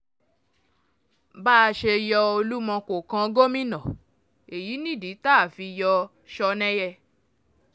bá a ṣe yọ olúmọ yọ olúmọ kó kàn gómìnà èyí nìdí tá a fi yọ ọ́ sọnẹ́yẹ